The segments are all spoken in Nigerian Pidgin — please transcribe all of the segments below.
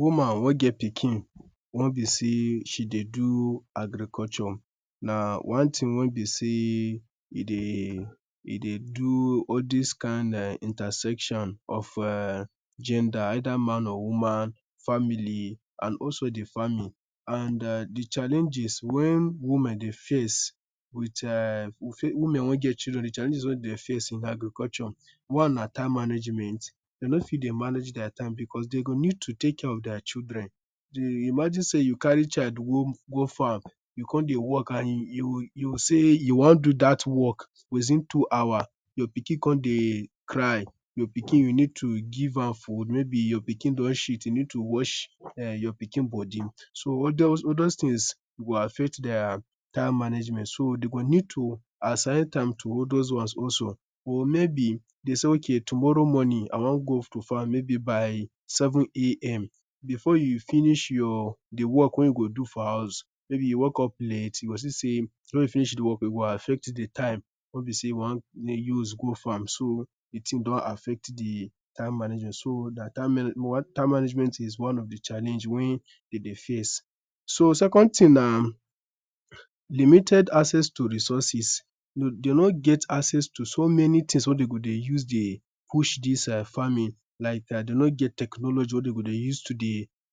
Woman wey get pikin wey be sey she dey do agriculture na one thing wey be sey e dey do all this kind intersection of gender either man or woman, family, and also the family The challenges wey be sey women dey face, women wey get children, the challenges wey dem dey face in agriculture, one na time management. Dem nor fit dey manage their time because dem need to take care of their children Imagine sey you carry child go farm, you come dey work and you sey you wan do that work within two hours, your pikin come dey cry, your pikin, you need to give am good, maybe your pikin don shit you need to wash your pikin body, so all these things go affect their time management so dem go need to assign time to all those ones also Or maybe, dem sey tomorrow morning, I wan go to farm maybe by 7am Before you finish your work wey you go do for house, maybe you wake up late, you go see sey e go affect the time wey you go use go farm so di thing don affect the time management so time management is one of the challenge wey dem dey face. So, second thing na limited access to resources Dem no get access to many things wey dem go dey use dey push this farming, like dem no get technology wey dem go dey use to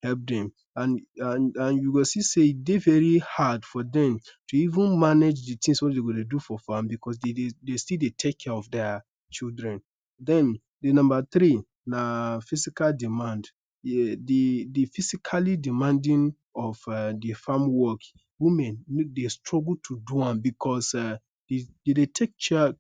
help dem And you go see sey e dey very hard to even manage di things wey dem go dey use for farm because dem still dey take care of their children, Then, the number three na physical demand. The physically demanding of the farm work, women dem struggle to do am because dem dey take care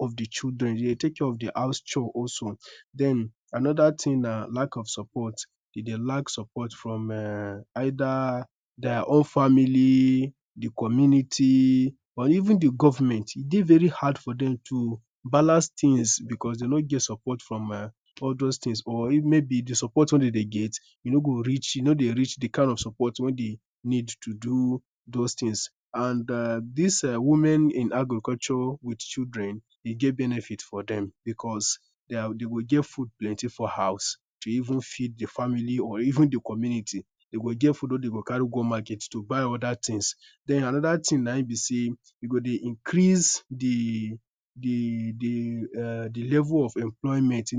of the children, dem dey take care of the house chores also, Then, another thing na lack of support Dem dey lack support from either their own family, the community, or even the government E dey very hard for them to balance things because dem no get support from all these things or maybe the support wey dem dey get, e no dey reach he kind of support wey dem need to do those things, and this women in agriculture with children, e dey get benefits for dem because dem go get food plenty for house to feed the family or even di community, dem go get food wey den go carry go market to buy other things, den another thing naim be sey e go dey increase the level of employment,